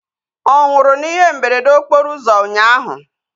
Ọ nwụrụ na ihe mberede okporo ụzọ ụnyaahụ?